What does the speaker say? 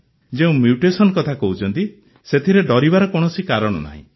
ଯେଉଁ ମ୍ୟୁଟେସନ୍ କଥା କହୁଛନ୍ତି ସେଥିରେ ଡରିବାର କୌଣସି କାରଣ ନାହିଁ